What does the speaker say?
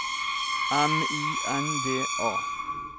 M I N D A